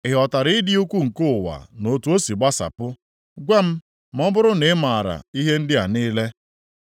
Ị ghọtara ịdị ukwu nke ụwa na otu o si gbasapụ? Gwa m, ma ọ bụrụ na ị maara ihe ndị a niile.